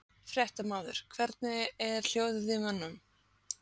Fréttamaður: Hvernig er hljóðið í mönnum?